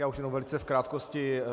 Já už jenom velice v krátkosti.